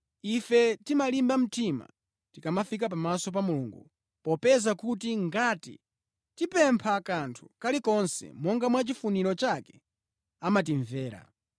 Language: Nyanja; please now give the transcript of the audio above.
Ife timalimba mtima tikamafika pamaso pa Mulungu, popeza kuti ngati tipempha kanthu kalikonse monga mwa chifuniro chake, amatimvera.